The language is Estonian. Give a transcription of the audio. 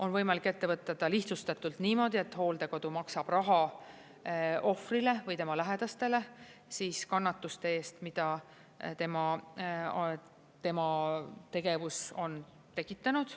On võimalik ette võtta ta lihtsustatult niimoodi, et hooldekodu maksab raha ohvrile või tema lähedastele kannatuste eest, mida tema tegevus on tekitanud.